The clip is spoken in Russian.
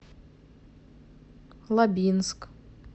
лабинск